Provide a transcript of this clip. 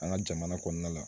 An ka jamana kɔnɔna la